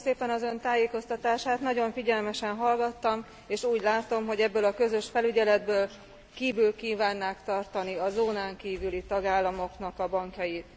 Köszönöm szépen az Ön tájékoztatását, nagyon figyelmesen hallgattam, és úgy látom, hogy ezen a közös felügyeleten kívül kívánnák tartani a zónán kívüli tagállamok bankjait.